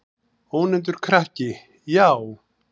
Ónefndur krakki: Já.